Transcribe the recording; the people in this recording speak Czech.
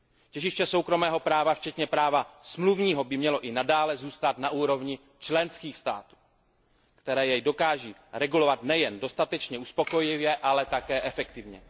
Těžiště soukromého práva včetně práva smluvního by mělo i nadále zůstat na úrovni členských států, které je dokáží regulovat nejen dostatečně uspokojivě, ale také efektivně.